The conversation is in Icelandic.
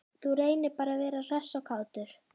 Þú reynir bara að vera hress og kátur!